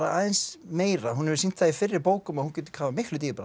aðeins meira hún hefur sýnt það í fyrri bókum að hún getur kafað miklu dýpra